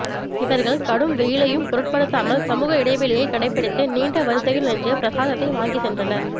இவர்கள் கடும் வெயிலையும் பொருட்படுத்தாமல் சமூக இடைவெளியை கடைப்பிடித்து நீண்ட வரிசையில் நின்று பிரசாதத்தை வாங்கிச் சென்றனர்